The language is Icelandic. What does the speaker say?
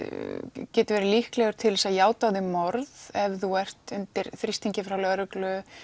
getur verið líklegur til þess að játa á þig morð ef þú ert undir þrýstingi frá lögreglu